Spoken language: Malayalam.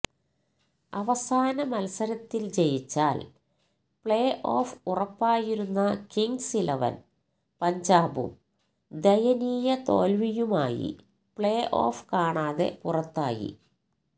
അവസാന മത്സരത്തിൽ ജയിച്ചാൽ പ്ലേഓഫ് ഉറപ്പായിരുന്ന കിങ്സ് ഇലവൻ പഞ്ചാബും ദയനീയ തോൽവിയുമായി പ്ലേഓഫ് കാണാതെ പുറത്തായി